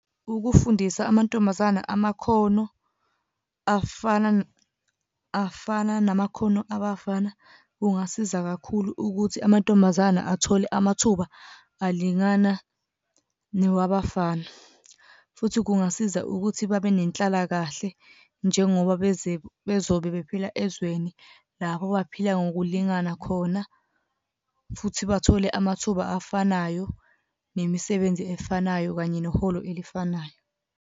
Ukufundisa amantombazana amakhono afana afana namakhono abafana kungasiza kakhulu ukuthi amantombazana athole amathuba alingana newabafana, futhi kungasiza ukuthi babe nenhlalakahle njengoba bezobe bephila ezweni lapho baphila ngokulingana khona. Futhi bathole amathuba afanayo, nemisebenzi efanayo kanye neholo elifanayo.